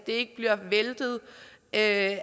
ikke bliver væltet af